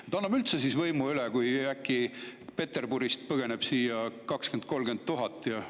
Kas anname siis üldse võimu üle, kui äkki Peterburist põgeneb siia 20 000 – 30 000 inimest?